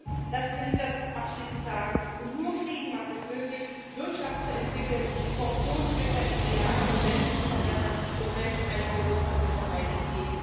Frieden lassen Sie mich das abschließend sagen und nur Frieden macht es möglich, Wirtschaft zu entwickeln, Korruption zu bekämpfen, die Lage von Menschen zu verbessern und Menschenrechte wirksam zu verteidigen.